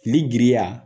Liriya